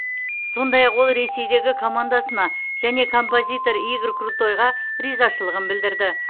сондай ақ ол ресейдегі командасына және композитор игорь крутойға ризашылығын білдірді